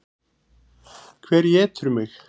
Hver étur mig?